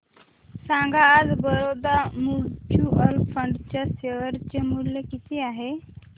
सांगा आज Baroda mutual fund च्या शेअर चे मूल्य किती आहे